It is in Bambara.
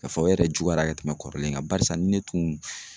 Ka fɔ o yɛrɛ juguyara ka tɛmɛ kɔrɔlen kan barisa ni ne tun